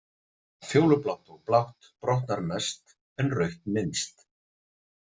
Fjólublátt og blátt brotnar mest en rautt minnst.